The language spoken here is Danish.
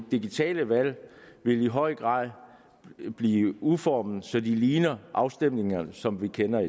digitale valg vil i høj grad blive udformet så de ligner afstemninger som vi kender